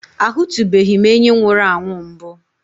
Ahụtụbeghị m enyí nwụrụ anwụ mbụ.